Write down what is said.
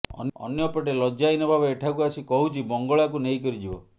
ଅନ୍ୟପଟେ ଲଜ୍ଜାହୀନ ଭାବେ ଏଠାକୁ ଆସି କହୁଛି ବଙ୍ଗଳାକୁ ନେଇକରି ଯିବ